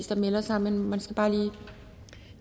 der melder sig men man skal bare lige